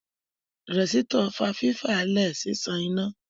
Rẹ̀sítọ̀ fa fífa lẹ̀ ṣíṣan iná